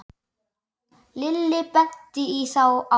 Lilli benti í þá átt.